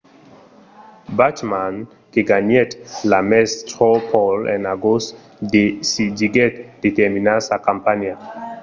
bachmann que ganhèt l'ames straw poll en agost decidiguèt de terminar sa campanha